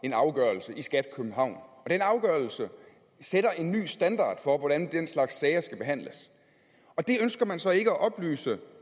en afgørelse i skat københavn og den afgørelse sætter en ny standard for hvordan den slags sager skal behandles og det ønsker man så ikke at oplyse